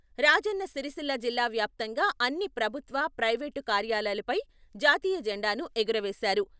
రాజన్న సిరిసిల్ల జిల్లా వ్యాప్తంగా అన్ని ప్రభుత్వ ప్రైవేటు కార్యాలయాలపై జాతీయ జెండాను ఎగురవేశారు.